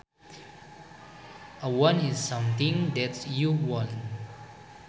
A want is something that you want